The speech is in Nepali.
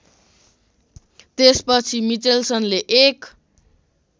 त्यसपछि मिचेल्सनले एक